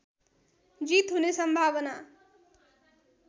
जित हुने सम्भावना